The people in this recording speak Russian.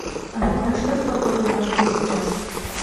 афина что с погодой в москве сейчас